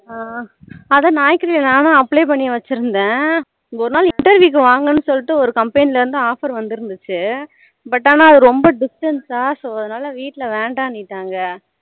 ஆஹ் அதான் Naukri நானும் apply பண்ணி வச்சிருந்தேன் ஒரு நாள் இப்படி தான் வாங்கணு சொல்லிட்டு ஒரு company ல இருந்து offer வந்துருந்துச்சி but ஆனா அது ரொம்ப distance so அதனால வீட்டுல வேணாம்னு சொல்லிட்டாங்க